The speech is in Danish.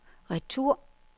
retur